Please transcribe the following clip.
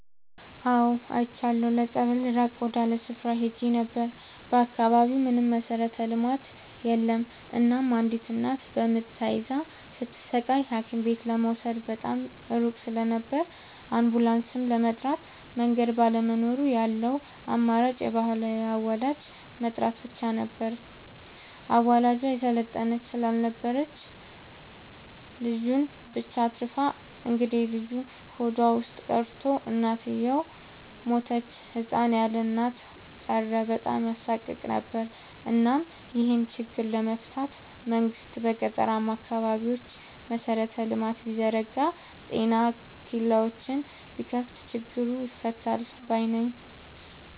አዎድ አይቻለሁ ለፀበል ራቅ ወዳለ ስፍራ ሄጄ ነበር። በአካባቢው ምንም መሠረተ ልማት የለም እናም አንዲት እናት በምጥ ተይዛ ስትሰቃይ ሀኪምቤት ለመውሰድ በጣም ሩቅ ስለነበር አንቡላስም ለመጥራት መንገድ ባለመኖሩ ያለው አማራጭ የባህል አዋላጅ መጥራት ብቻ ነበር። አዋላጇ የሰለጠነች ስላልነበረች ልጁን ብቻ አትርፋ እንግዴልጁ ሆዷ ውስጥ ቀርቶ እናትየው ሞተች ህፃን ያለእናት ቀረ በጣም ያሳቅቅ ነበር እናም ይሄን ችግር ለመፍታት መንግስት በገጠራማ አካባቢዎች መሰረተ ልማት ቢዘረጋ ጤና ኬላዎችን ቢከፋት ችግሩ ይፈታል ባይነኝ።